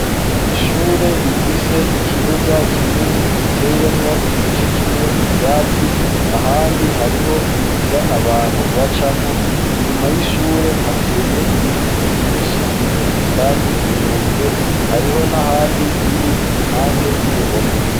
Ishure rifise ikibuga kinini giteyemwo igice kimwe ivyatsi, ahandi hariho inzira abantu bacamwo inyuma y'ishure hateye ibiti vyinshi binini kandi birebire, hariho n'ahandi biri impande y'uruhome